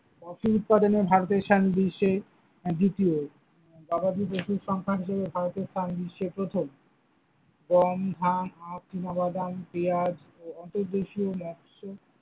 Coffee উৎপাদনে ভারতের স্থান বিশ্বে দ্বিতীয়, গাবাধি পশুর সংখ্যা ভারতে স্থান বিশ্বে প্রথম, গম, ধান, আখ, চিনাবাদাম, পেঁয়াজ, ।